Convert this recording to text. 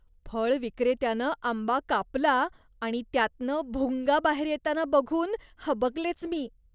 फळ विक्रेत्यानं आंबा कापला आणि त्यातनं भुंगा बाहेर येताना बघून हबकलेच मी.